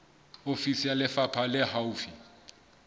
ofisi ya lefapha le haufi